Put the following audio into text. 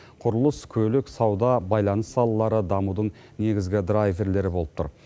құрылыс көлік сауда байланыс салалары дамудың негізгі драйверлері болып тұр